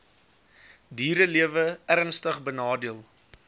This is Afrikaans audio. dierelewe ernstig benadeel